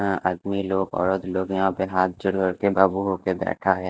आदमी लोग ओर लोग यहां पे हाथ जोड़ करके बाबू होकर बैठा है।